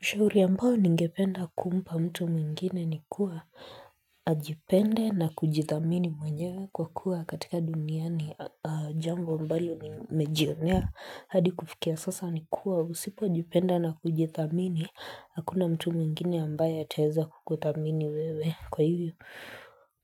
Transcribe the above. Shauri ambayo ningependa kumpa mtu mwingine ni kuwa nijipende na kujidhamini mwenyewe kwa kuwa katika duniani jambo ambalo nimejionea hadi kufikia sasa ni kuwa usipojipenda na kujidhamini hakuna mtu mwingine ambaye ataweza kukudhamini wewe kwa hivyo